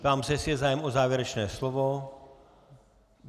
Ptám se, jestli je zájem o závěrečné slovo.